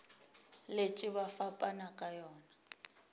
letše ba fapana ka yona